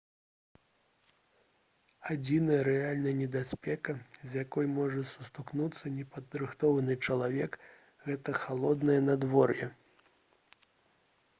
адзіная рэальная небяспека з якой можа сутыкнуцца непадрыхтаваны чалавек гэта халоднае надвор'е